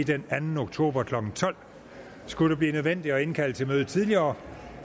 den anden oktober klokken tolv skulle det blive nødvendigt at indkalde til et møde tidligere